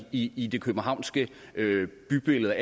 i i det københavnske bybillede